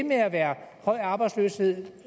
med at være høj arbejdsløshed